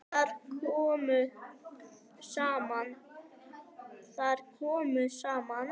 Þar komu saman